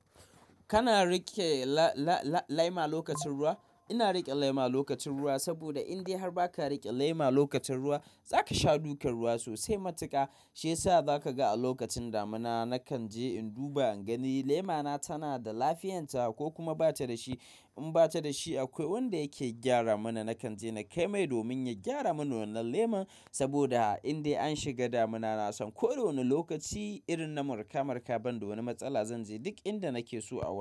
Kana riƙe la-la-la-laima lokacin ruwa? Ina riƙe lema lokacin ruwa saboda indai har ba ka riƙe lema lokacin ruwa, za ka sha dukar ruwa sosai matuka. Shi yasa za ka ga a lokacin damina, na kan je in duba in gani lemana tana da lafiyanta ko kuma ba ta da shi. In ba ta da shi, akwai wanda yake gyara mana. Na kan je na kai mai domin ya gyara mana wannan leman saboda indai an shiga damina, na san ko da wane lokaci irin na marka, marka ban da wani matsala, zan je duk inda nake so a wurin.